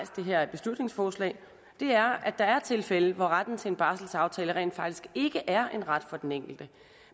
det her beslutningsforslag er at der er tilfælde hvor retten til en barselsaftale rent faktisk ikke er en ret for den enkelte